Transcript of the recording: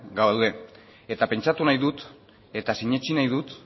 gaude eta pentsatu nahi dut eta sinetsi nahi dut